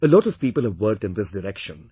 A lot of people have worked in this direction